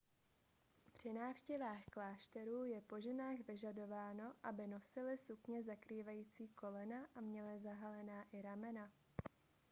při návštěvách klášterů je po ženách vyžadováno aby nosily sukně zakrývající kolena a měly zahalená i ramena